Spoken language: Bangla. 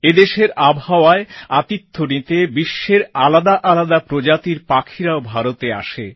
এদেশের আবহাওয়ায় আতিথ্য নিতে বিশ্বের আলাদা আলাদা প্রজাতির পাখিরাও ভারতে আসে